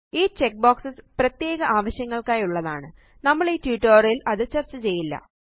ഈ check box പ്രത്യേക ആവശ്യങ്ങള്ക്കായുള്ളതാണ് നമ്മളീ ട്യൂട്ടോറിയൽ ല് അത് ചര്ച്ച ചെയ്യില്ല